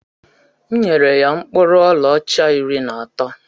M nyere ya mkpụrụ ọlaọcha iri na atọ